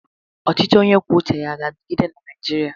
Ọchịchị onye kwuo uche ya aga-adịgide na Naịjirịa?